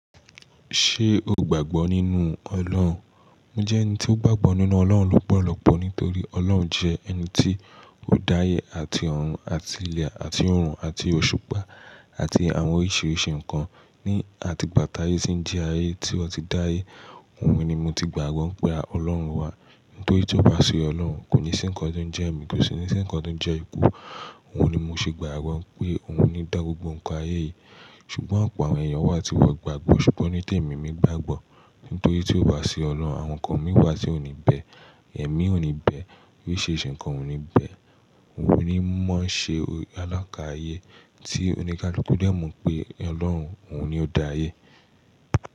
Ṣé o gbàgbọ́ nínú Ọlọ́run? Mo jẹ́ ẹni tó gbàgbọ́ nínú Ọlọ́run lọ́pọ̀lọpọ̀ nítorí Ọlọ́run jẹ́ ẹni tí ó dá ayé àti ọ̀run àti ilẹ̀ àti oorun àti òṣùpá àti àwọn oríṣiríṣi nǹkan ní àti gbà tà ye tí ń jí ayé tí wọ́n ti dá ayé. Òun ni mo ti gbàgbọ́ pé Ọlọ́run wà nítorí ìjọba sí Ọlọ́run kò ní ṣé ǹkan tó ń jẹ́ ẹ̀mí kò sí ní ṣé ǹkan tó ń jẹ́ ikú. Òun ni mo ṣe gbàgbọ́ pé òun ni dá gbogbo ǹkan ayé yìí. Ṣùgbọ́n ọ̀pọ̀ àwọn èèyàn wà tí wọ́n ò gbàgbọ́. Ṣùgbọ́n ni témi mi gbàgbọ́ nítorí tí ó bá sí Ọlọ́run, àwọn nǹkan mìí wà tí ò ní bẹ́ẹ̀, ẹ̀mí ò ní bẹ́ẹ̀, oríṣiríṣi nǹkan ò ní bẹ́ẹ̀. Òun ni ó máa ń ṣe alákààyé tí oníkaluku dẹ́mo pé Ọlọ́run, òun ni ó dá ayé.